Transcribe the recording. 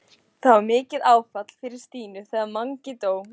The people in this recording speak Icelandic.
Það var mikið áfall fyrir Stínu þegar Mangi dó.